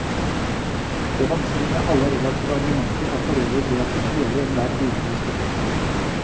Det vanskelige med alle relative argumenter er forøvrig det at de kveler enhver videre diskusjon.